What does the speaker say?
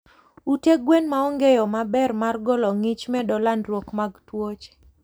Ute gwen maonge yoo maber mar golo ngich medo landruok mag tuoche